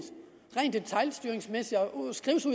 rent detailstyringsmæssigt